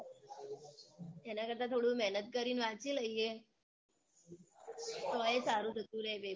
એનાં કરતાં થોડું મેહનત કરીને વાંચી લઈએ તોય સારું જતું રે paper